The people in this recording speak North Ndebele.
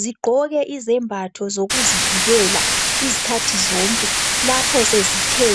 zigqoke izembatho zokuzivikela izikhathi zonke lapho sezithe